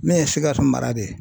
N'o ye Sikaso mara de ye.